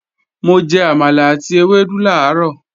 Mo jẹ àmàlà àti ewédú làárọ̀